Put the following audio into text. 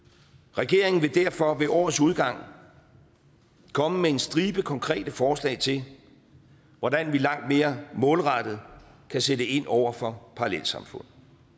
regeringen vil derfor ved årets udgang komme med en stribe konkrete forslag til hvordan vi langt mere målrettet kan sætte ind over for parallelsamfund